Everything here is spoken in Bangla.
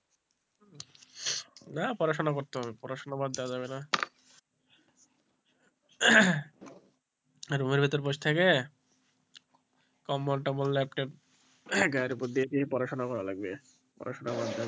না পড়াশোনা করতে হবে পড়াশোনা বাদ দেওয়া যাবে না room এর ভিতর বস থাকে কম্বল টোম্বল লেপ টেপ গায়ের উপর দিয়ে পড়াশোনা করা লাগবে পড়াশুনা,